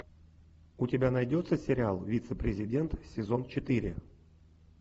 у тебя найдется сериал вице президент сезон четыре